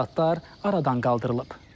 Fəsadlar aradan qaldırılıb.